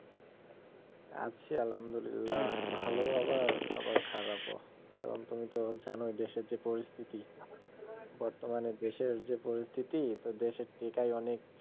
আছি আলহামদুলিল্লা ভালো আবার, আবার খারাপও কারন তুমি তো জানো এখন দেশের যা পরিস্থিতি, বর্তমানে দেশের যে পরিস্থিতি তো দেশের টেকাই অনেক